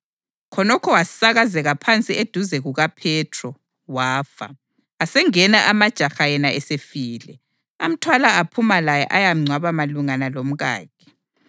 Khonokho wasakazeka phansi eduze kukaPhethro, wafa. Asengena amajaha yena esefile, amthwala aphuma laye ayamngcwaba malungana lomkakhe.